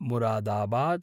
Moradabad